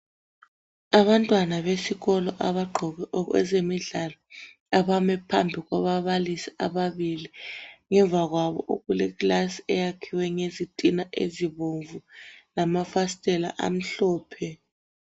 Abantwana besikolo abagqoke okwezemidlalo abame phambi kwababalisi ababili. Ngemva kwabo okuleklasi eyakhiwe ngezitina ezibomvu lamafasitela amhlophe.